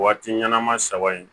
Waati ɲɛnama saba in